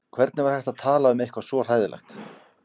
Hvernig var hægt að tala um eitthvað svo hræðilegt.